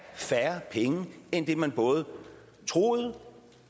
færre penge end det man både troede